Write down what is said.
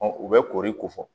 u bɛ koori ko fɔ